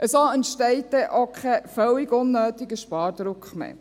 So entsteht dann auch kein völlig unnötiger Spardruck mehr.